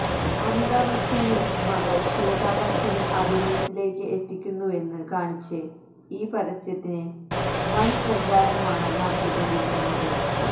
അമിതാ ബച്ചന് മകള് ശ്വേതാ ബച്ചനെ അഭിനയത്തിലേക്ക് എത്തിക്കുന്നുവെന്ന് കാണിച്ച് ഈ പരസ്യത്തിന് വന് പ്രചാരമാണ് നടത്തികൊണ്ടിരിക്കുന്നത്